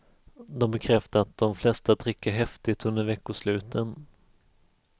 De bekräftade att de flesta dricker häftigt under veckosluten.